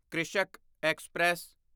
Krishak express